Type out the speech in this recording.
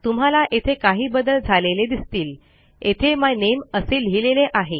तुम्हाला येथे काही बदल झालेले दिसतील येथे माय नामे असे लिहिलेले आहे